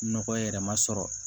Nɔgɔ yɛrɛ ma sɔrɔ